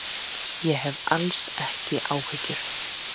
Ég hef alls ekki áhyggjur.